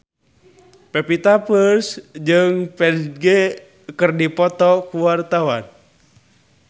Pevita Pearce jeung Ferdge keur dipoto ku wartawan